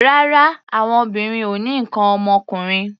Rárá, àwọn obìnrin ò ní nǹkan ọmọkùnrin.